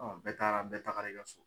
bɛɛ taara bɛɛ tagara i ka so.